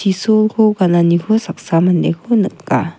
Isolko gananiko saksa mandeko nika.